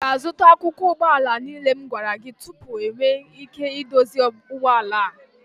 ị ga-azụta akụkụ ụgbọ ala niile m gwara gị tupu m enwee ike idozi ụgbọ ala a